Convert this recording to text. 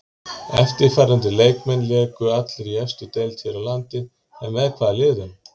Eftirtaldir leikmenn léku allir í efstu deild hér á landi en með hvaða liðum?